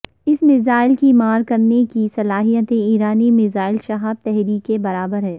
اس missile کی مار کرنے کی صلاحیت ایرانی میزائل شہاب تھری کے برابر ہے